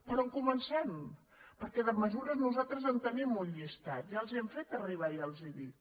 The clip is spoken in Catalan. per on comencem perquè de mesures nosaltres en tenim un llistat ja els hi hem fet arribar ja els ho dic